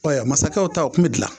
Ɛɛ masakɛw ta o kun bi gilan